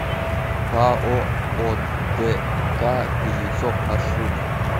пао одк кузнецов маршрут